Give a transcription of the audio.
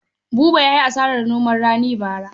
Buba ya yi hasarar noma rani bara.